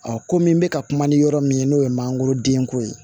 komi n bɛ ka kuma ni yɔrɔ min ye n'o ye mangoro denko ye